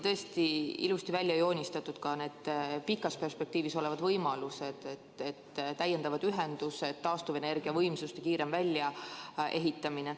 Tõesti olid ilusti välja joonistatud ka need pikas perspektiivis olevad võimalused: täiendavad ühendused, taastuvenergiavõimsuste kiirem väljaehitamine.